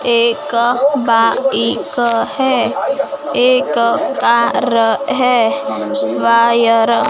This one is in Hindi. एक बाइक है एक कार है वायर --